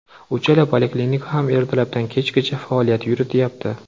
Uchala poliklinika ham ertalabdan kechgacha faoliyat yurityapti.